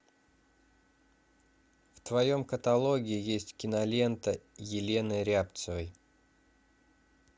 в твоем каталоге есть кинолента елены рябцевой